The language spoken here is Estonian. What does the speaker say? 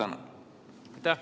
Aitäh!